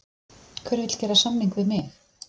Hver vill gera samning við mig?